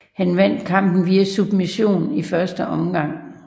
Han vandt kampen via submission i første omgang